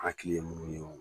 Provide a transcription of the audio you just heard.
Hakili ye mun ye